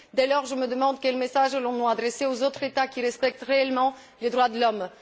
Dès lors, je me demande quel message nous allons adresser aux autres États qui respectent réellement les droits de l'homme.